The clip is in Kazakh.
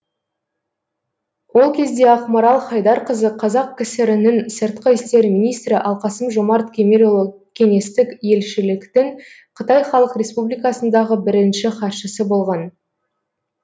ол кезде ақмарал хайдарқызы қазақ кср нің сыртқы істер министрі ал қасым жомарт кемелұлы кеңестік елшіліктің қытай халық республикасындағы бірінші хатшысы болған